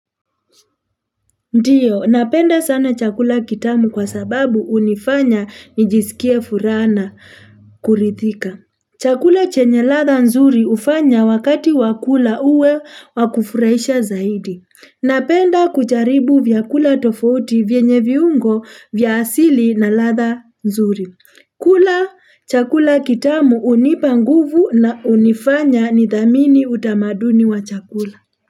Ndio, napenda sana chakula kitamu kwa sababu hunifanya nijisikie furaha na kuridhika. Chakula chenye ladha nzuri hufanya wakati wa kula uwe wakufurahisha zaidi. Napenda kujaribu vyakula tofouti vyenye viungo vya asili na ladha nzuri. Kula chakula kitamu hunipa nguvu na hunifanya nidhamini utamaduni wa chakula.